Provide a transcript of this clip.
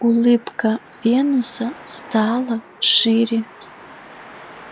улыбка венуса стала шире